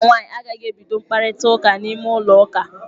Nwata nwaanyị a agaghị ebido mkparịta ụka n'ime ulọ ụka.